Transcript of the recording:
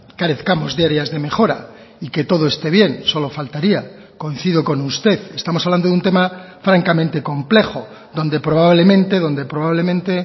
carezcamos de áreas de mejora y que todo esté bien solo faltaría coincido con usted estamos hablando de un tema francamente complejo donde probablemente donde probablemente